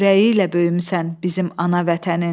Çörəyi ilə böyümüsən bizim ana vətənin.